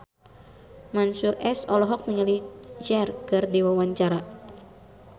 Mansyur S olohok ningali Cher keur diwawancara